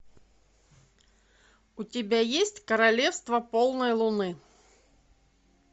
у тебя есть королевство полной луны